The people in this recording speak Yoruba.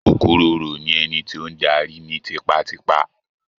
Okuroro ni ẹni tí o n darí ni tipatipa.